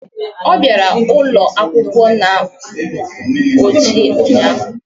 Ọ bịara ụlọ akwụkwọ na akpa ojii ụnyaahụ